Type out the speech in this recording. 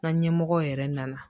Ka ɲɛmɔgɔw yɛrɛ nana